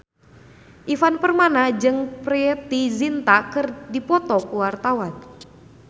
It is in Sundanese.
Ivan Permana jeung Preity Zinta keur dipoto ku wartawan